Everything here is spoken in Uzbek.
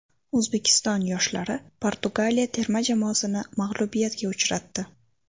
O‘zbekiston yoshlari Portugaliya terma jamoasini mag‘lubiyatga uchratdi.